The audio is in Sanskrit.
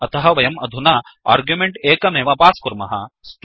अतः वयम् अधुना आर्ग्युमेण्ट् एकमेव पास् कुर्मः